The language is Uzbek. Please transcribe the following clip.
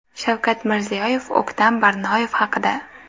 Shavkat Mirziyoyev O‘ktam Barnoyev haqida.